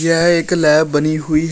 यह एक लैब बनी हुई है।